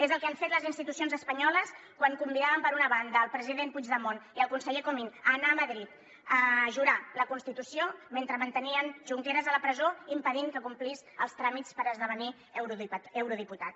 és el que han fet les institucions espanyoles quan convidaven per una banda el president puigdemont i el conseller comín a anar a madrid a jurar la constitució mentre mantenien junqueras a la presó i impedien que complís els tràmits per esdevenir eurodiputat